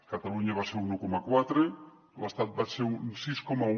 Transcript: catalunya va ser un un coma quatre l’estat va ser un sis coma un